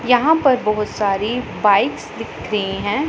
यहां पर बहुत सारी बाइकस दिख रही हैं।